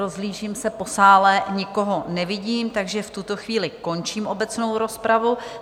Rozhlížím se po sále, nikoho nevidím, takže v tuto chvíli končím obecnou rozpravu.